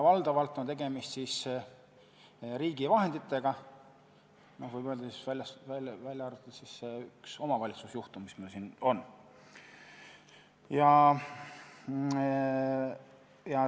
Valdavalt on tegemist riigi vahenditega, võib öelda, välja arvatud see üks omavalitsuse juhtum, mis meil siin on.